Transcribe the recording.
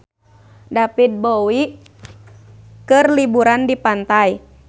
David Bowie keur liburan di pantai